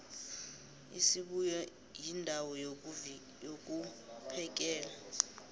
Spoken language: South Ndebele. isibuya yindawo yokvphekela